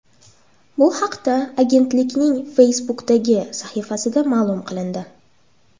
Bu haqda agentlikning Facebook’dagi sahifasida ma’lum qilindi .